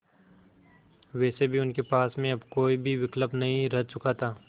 वैसे भी उनके पास में अब कोई भी विकल्प नहीं रह चुका था